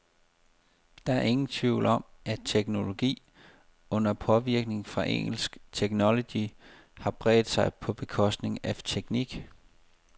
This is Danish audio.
Der er ingen tvivl om, at teknologi, under påvirkning fra engelsk technology, har bredt sig på bekostning af teknik.